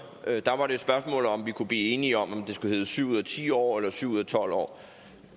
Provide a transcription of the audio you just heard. der var det et spørgsmål om vi kunne blive enige om om det skulle hedde syv ud af ti år eller syv ud af tolv år